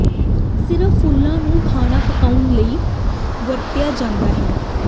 ਸਿਰਫ ਫੁੱਲਾਂ ਨੂੰ ਖਾਣਾ ਪਕਾਉਣ ਲਈ ਵਰਤਿਆ ਜਾਂਦਾ ਹੈ